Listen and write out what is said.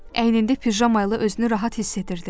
Əynində pijama ilə özünü rahat hiss edirdi.